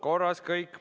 Korras kõik.